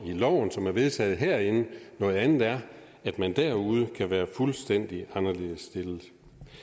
loven som er vedtaget herinde noget andet er at man derude kan være fuldstændig anderledes stillet